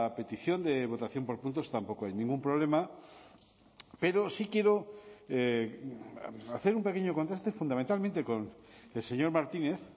petición de votación por puntos tampoco hay ningún problema pero sí quiero hacer un pequeño contexto fundamentalmente con el señor martínez